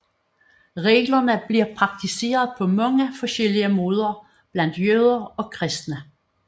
Reglerne bliver praktiseret på mange forskellige måder blandt jøder og kristne